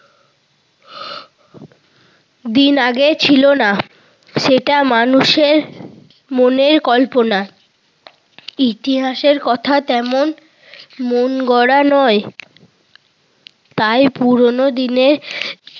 দিন আগে ছিল না। সেটা মানুষের মনের কল্পনা। ইতিহাসের কথা তেমন মনগড়া নয়। তাই পুরোনো দিনের